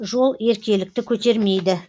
жол еркелікті көтермейді